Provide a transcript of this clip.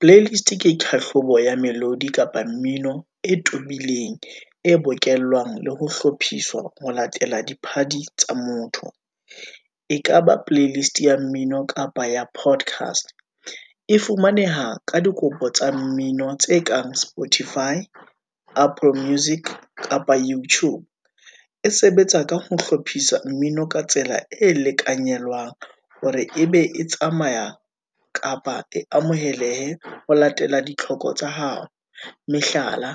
Playlist ke kahlolo ya melodi kapa mmino e tobileng, e bokellang le ho hlophisa ho latela diphadi tsa motho, e kaba playlist ya mmino, kapa ya podcast. E fumaneha ka dikopo tsa mmino tse kang spotify, apple music kapa youtube, e sebetsa ka ho hlophisa mmino ka tsela e lekanyelwang, hore ebe e tsamaya kapa e amohelehe ho latela ditlhoko tsa hao. Mehlala,